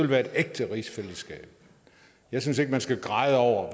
være et ægte rigsfællesskab jeg synes ikke man skal græde over